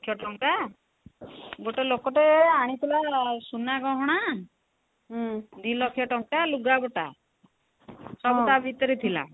ଲକ୍ଷ ଟଙ୍କା ଗୋଟେ ଲୋକ ଟେ ଆଣିଥିଲା ସୁନାଗହଣା ଦି ଲକ୍ଷ ଟଙ୍କା ଲୁଗା ପଟା ସବୁ ତା ଭିତରେ ଥିଲା